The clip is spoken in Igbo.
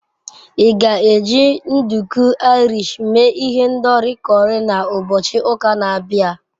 Ị ga-eji nduku Irish mee ihendori curry na ụbọchị ụka na-abịa?